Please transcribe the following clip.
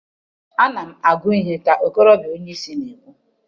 Ana m agụ ihe ka okorobịa onye isi na-ekwu